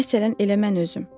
Məsələn, elə mən özüm.